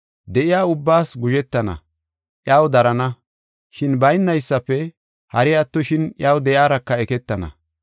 De7iya ubbaas guzhetana, iyaw darana, shin baynaysafe hari attoshin iyaw de7iyaraka eketana.